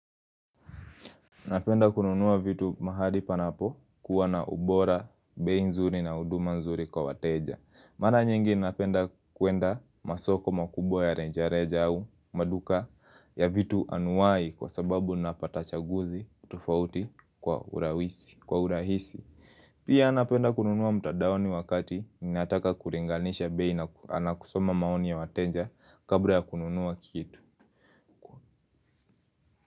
Napenda kununua vitu mahali panapo kuwa na ubora, bei nzuri na huduma nzuri kwa wateja. Mana nyingi napenda kuenda masoko makubwa ya renjareja au maduka ya vitu anuai kwa sababu napata chaguzi tufauti kwa urahisi. Pia napenda kununua mtadaoni wakati ninataka kuringanisha bei na na kusoma maoni ya wateja kabla ya kununua kitu.